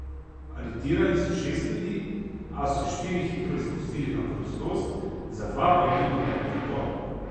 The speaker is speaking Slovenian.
Aretirali so šest ljudi, a so štiri hitro izpustili na prostost, za dva pa je bil odrejen pripor.